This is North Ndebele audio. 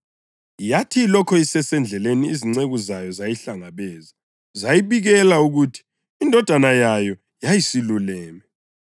Yathi ilokhu isesendleleni, izinceku zayo zayihlangabeza zayibikela ukuthi indodana yayo yayisiluleme.